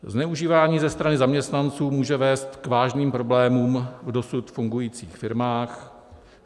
Zneužívání ze strany zaměstnanců může vést k vážným problémům v dosud fungujících firmách.